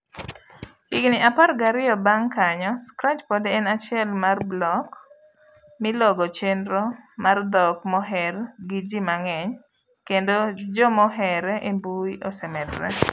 Higni apar gariyo bang' kanyo, Scratch pod en achiel mar block milogo chenro mar dhok moher giji mang'eny kendo jomohere embui osee medre.